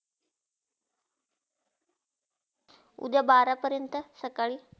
उद्या बारा पर्यंत सकाळी.